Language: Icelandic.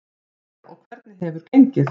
Freyja: Og hvernig hefur gengið?